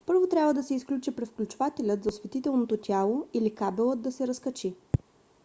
първо трябва да се изключи превключвателят за осветителното тяло или кабелът да се разкачи